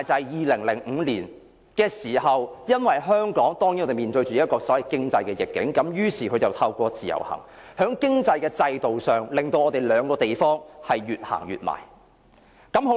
2005年香港面對經濟逆境時，於是北京便製造依賴，透過自由行在經濟制度上，令兩個地方越走越近。